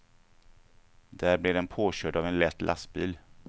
Där blev den påkörd av en lätt lastbil.